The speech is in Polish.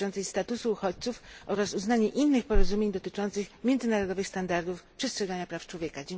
dotyczącej statusu uchodźców oraz uznanie innych porozumień dotyczących międzynarodowych standardów przestrzegania praw człowieka.